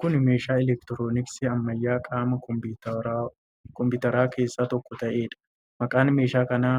Kun meeshaa elektirooniksii ammayyaa qaama kompiwuuteraa keessaa tokko ta'eedha. Maqaan meeshaa kanaa